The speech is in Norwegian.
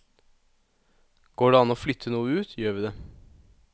Går det an å flytte noe ut, gjør vi det.